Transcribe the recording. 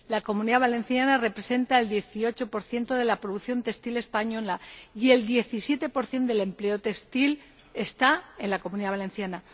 La Comunidad Valenciana representa el 18 de la producción textil española, y el 17 del empleo textil está en la Comunidad Valenciana.